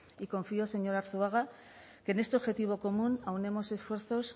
y confío señor arzuaga que en este objetivo común aunemos esfuerzos